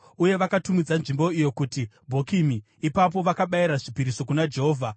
uye vakatumidza nzvimbo iyo kuti Bhokimi. Ipapo, vakabayira zvipiriso kuna Jehovha.